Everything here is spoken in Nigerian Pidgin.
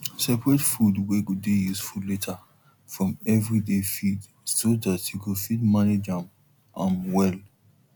seperate food way go dey useful later from everyday feed so dat you go fit manage am am well